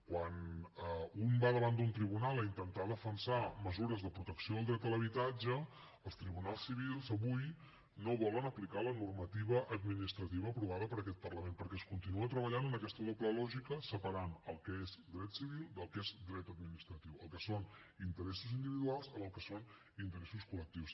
quan un va davant d’un tribunal a intentar defensar mesures de protecció del dret a l’habitatge els tribunals civils avui no volen aplicar la normativa administrativa aprovada per aquest parlament perquè es continua treballant en aquesta doble lògica separant el que és dret civil del que és dret administratiu el que són interessos individuals del que són interessos col·lectius